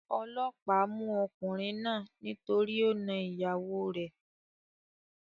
Olóòpá mú okùnrin náà nítorí o na ìyàwo rè